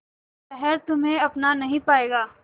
शहर तुम्हे अपना नहीं पाएगा